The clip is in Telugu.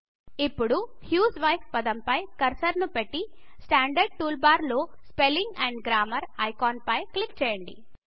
ఇప్పుడు హ్యూస్వైఫ్ పదం పై కర్సర్ ను పెట్టి స్టాండర్డ్ టూల్ బార్ లో spelling and grammar spelling and grammar icon పై క్లిక్ చేయండి